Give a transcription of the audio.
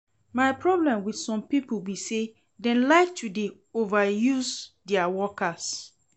My problem with some people be say dem like to dey overuse dia workers